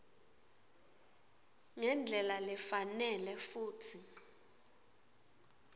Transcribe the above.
ngendlela lefanele futsi